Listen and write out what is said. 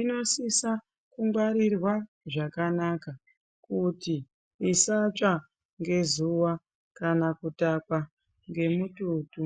inosisa kungwarirwa zvakanaka kuti isatsva ngezuwa Kuna kutakwa ngemututu.